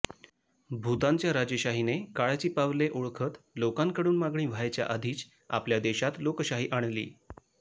भूतानच्या राजेशाहीने काळाची पावले ओळखत लोकांकडून मागणी व्हायच्या आधीच आपल्या देशात लोकशाही आणली